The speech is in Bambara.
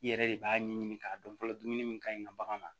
I yɛrɛ de b'a ɲɛɲini k'a dɔn fɔlɔ dumuni min ka ɲi ka bagan na